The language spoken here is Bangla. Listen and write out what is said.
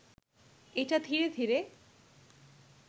এটা ধীরে ধীরে